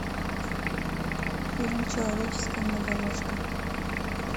фильм человеческая многоножка